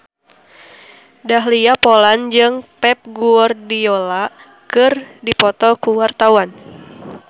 Dahlia Poland jeung Pep Guardiola keur dipoto ku wartawan